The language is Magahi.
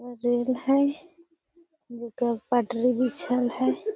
रेल हई जेकरा पे पटरी बिछल हई |